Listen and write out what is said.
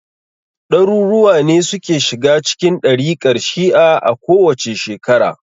Ɗaruruwa ne suke shiga cikin ɗarikar shi'a a kowace shekara.